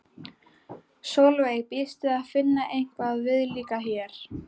Sólveig: Býstu við að finna eitthvað viðlíka hér?